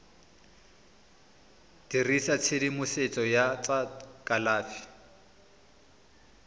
dirisa tshedimosetso ya tsa kalafi